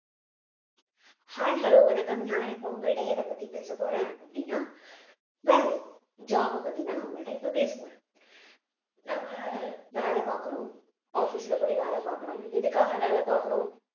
hi hello வணக்கம் நான் இப்ப உங்கள்ட்ட எதைப்பத்தி பேசப்போறேன் அப்படின்னா வேலை job அ பத்திதான் நான் உங்கள்ட்ட இப்ப பேசப்போறேன் நாம்ம வேலை பார்க்கிறோம் office ல போய் வேலை பார்க்கிறோம் எதுக்காக வேலை பார்க்கிறோம்